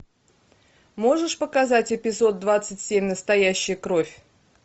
можешь показать эпизод двадцать семь настоящая кровь